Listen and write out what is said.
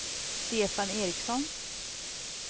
Stefan Ericsson